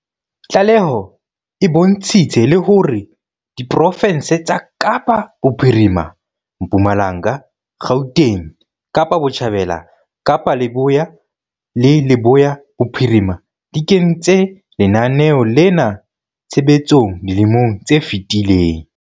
Tlaleho e bontshitse le hore diprofense tsa Kapa Bophirima, Mpumalanga, Gauteng, Kapa Botjhabela, Kapa Leboya le Leboya Bophirima di kentse lenaneo lena tshebetsong dilemong tse fetileng.